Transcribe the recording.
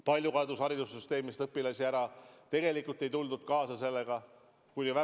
Palju kadus haridussüsteemist õpilasi ära, tegelikult ei tuldud distantsõppega kaasa.